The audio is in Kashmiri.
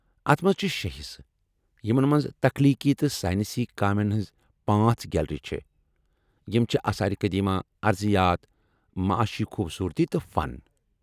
اتھ منٛز چھ شےٚ حصہٕ یمن منٛز تخلیقی تہٕ ساینسی کامٮ۪ن ہنٕٛزٕ پانژھ گیلری چھےٚ، یم چھِ آثار قدیمہ، ارضیات، معاشی خوبصورتی تہٕ فن ۔